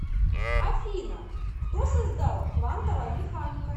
афина кто создал квантовая механика